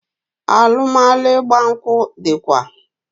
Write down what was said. Alụmalụ ịgba nkwụ dịkwa